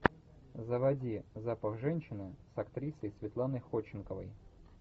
заводи запах женщины с актрисой светланой ходченковой